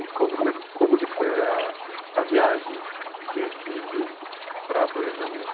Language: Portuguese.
E conta como é, como que foi ah, a viagem de Recife para, para o Rio de Janeiro.